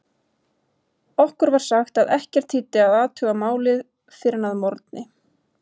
Okkur var sagt að ekkert þýddi að athuga málið fyrr en að morgni.